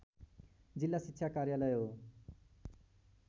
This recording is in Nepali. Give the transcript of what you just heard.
जिल्ला शिक्षा कार्यालय हो